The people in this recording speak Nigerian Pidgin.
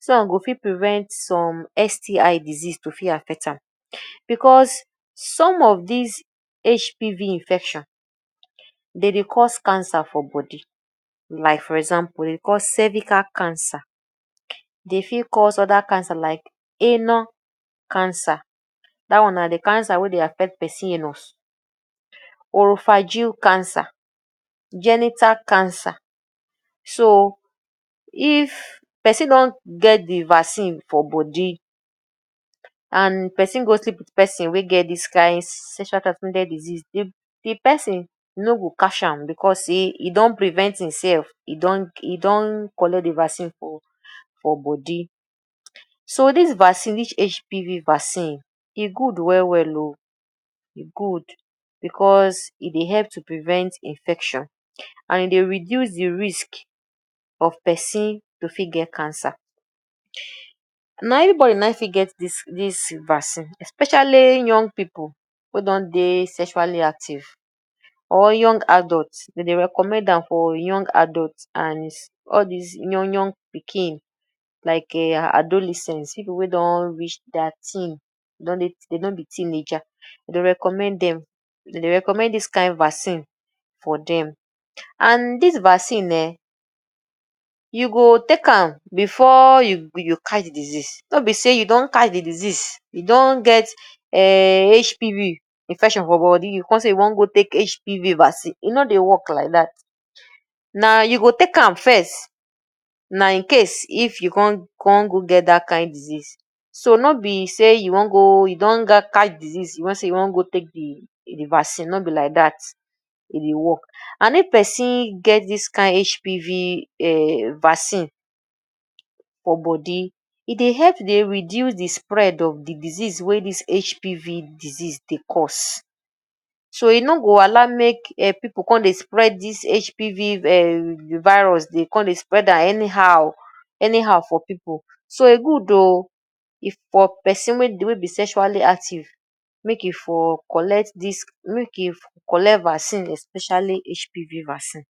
dis one go fit prevent some STI disease to fit affect am because some of dis HPV infection, dey dey cause cancer for body like. For example dey dey cause cervical cancer, dey fit cause other cancer like anal cancer; dat one na de cancer wey dey affect person anus or phageal cancer, genital cancer. So if person don get de vaccine for body and person go sleep wit person wey get dis kain sexual transmitted disease, de de person no go catch am because sey e don prevent im self. E don, e don collect de vaccine for for body. So dis vaccine, dis HPV vaccine e good well well oo, e good because e dey help to prevent infection and e dey reduce de risk of person to fit get cancer. Na everybody na e fit get dis dis vaccine especially young pipu wey don dey sexually active or young adults. Dem dey recommend am for young adult and all dis young young pikin like um adolescents, pipu wey don reach thirteen;? dey don be teenager. Dey dey recommend dem, dey dey recommend all dis kain vaccine for dem. And dis vaccine um, you go take before you you catch de disease. No be sey you don catch de disease, you don get um HPV infection for body you come say you wan go take HPV vaccine. E no dey work like dat, na you go take am first. Na incase if you con con go get dat kain disease. So no be sey you wan go, you don catch disease, you wan say you wan go take de de vaccine, no be like dat e dey work. And if person get dis kain HPV um vaccine for body, e dey help dey reduce de spread of de disease wey dis HPV disease dey cause. So e no go allow make pipu come dey spread dis HPV um virus, dey come dey spread am anyhow anyhow for pipu. So e good oo, if for person wey dey, wey be sexually active, make e for collect dis, make e for collect vaccine especially HPV vaccine.